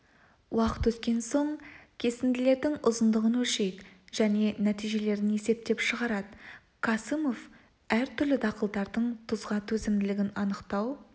уақыт өткен соң кесінділердің ұзындығын өлшейді және нәтижелерін есептеп шығарады касымов әртүрлі дақылдардың тұзға төзімділігін анықтау